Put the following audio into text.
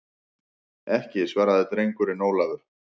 Ekki, svaraði drengurinn Ólafur.